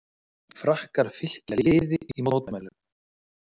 Frakkar fylkja liði í mótmælum